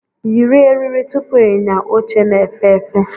Yiri eriri tupu ịnya oche na-efe efe!